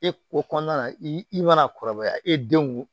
E ko kɔnɔna na i mana kɔrɔbaya e denw